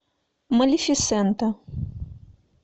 малефисента